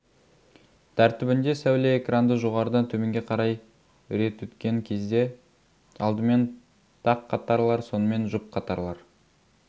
тәртібінде сәуле экранды жоғарыдан төменге қарай рет өткен кезде алдымен тақ қатарлар сонымен жұп қатарлар